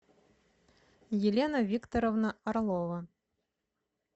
елена викторовна орлова